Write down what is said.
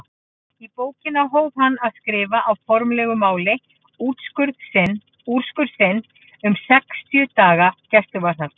Í bókina hóf hann að skrifa á formlegu máli úrskurð sinn um sextíu daga gæsluvarðhald.